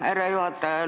Härra juhataja!